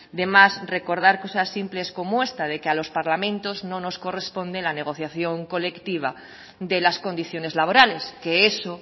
de más recordar cosas simples como esta de que a los parlamentos no nos corresponde la negociación colectiva de las condiciones laborales que eso